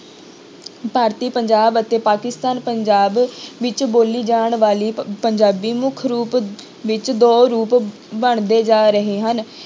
ਭਾਰਤੀ ਪੰਜਾਬ ਅਤੇ ਪਾਕਿਸਤਾਨ ਪੰਜਾਬ ਵਿੱਚ ਬੋਲੀ ਜਾਣ ਵਾਲੀ ਪ~ ਪੰਜਾਬੀ ਮੁੱਖ ਰੂਪ ਵਿੱਚ ਦੋ ਰੂਪ ਬਣਦੇ ਜਾ ਰਹੇ ਹਨ।